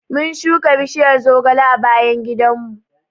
Mun shuka bishiyar zogale a bayan gidanmu.